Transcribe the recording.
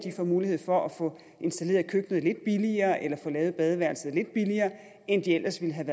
får mulighed for at få installeret køkkenet lidt billigere eller få lavet badeværelset lidt billigere end det ellers ville have